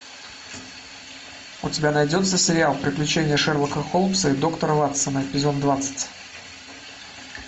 у тебя найдется сериал приключения шерлока холмса и доктора ватсона эпизод двадцать